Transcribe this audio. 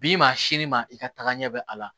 Bi maa sini ma i ka tagaɲɛ bɛ a la